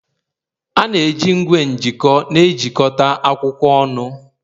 A na-eji igwe m'jiko ejikọta akwụkwọ ọnụ